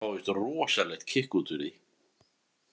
Fá víst rosalegt kikk út úr því.